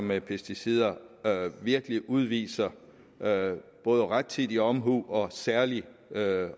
med pesticider virkelig udviser både rettidig omhu og særlig